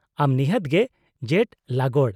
-ᱟᱢ ᱱᱤᱦᱟᱹᱛ ᱜᱮ ᱡᱮᱴᱼᱞᱟᱜᱚᱰ ᱾